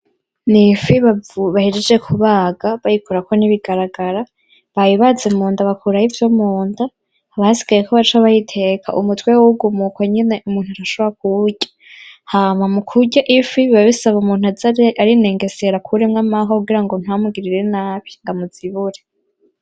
Ni ifi bahejeje kubaga, bayikurako n’ibigaragara. Bayibaza munda bakurayo ivyo munda, haba hasigaye ko baca bayiteka. Umutwe wo uguma uko nyene umuntu akaca ashobora kuwurya hama mukurya ifi biba bisaba umuntu aze arinengesera akuremwo amahwa kugira ngo ntamugirire nabi ngo amuzibure.